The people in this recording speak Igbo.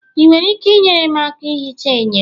ị nwere ike inyere m aka ihicha enyo?